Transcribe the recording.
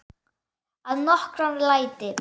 Að nokkru leyti.